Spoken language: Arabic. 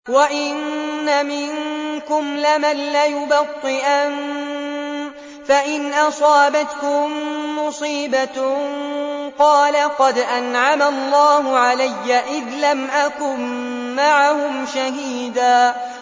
وَإِنَّ مِنكُمْ لَمَن لَّيُبَطِّئَنَّ فَإِنْ أَصَابَتْكُم مُّصِيبَةٌ قَالَ قَدْ أَنْعَمَ اللَّهُ عَلَيَّ إِذْ لَمْ أَكُن مَّعَهُمْ شَهِيدًا